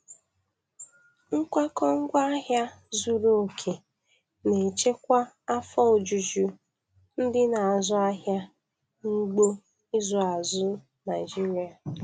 Nkwakọ ngwaahịa zuru oke na-echekwa afọ ojuju ndị na-azụ ahịa n'ugbo ịzụ azụ Naịjiria.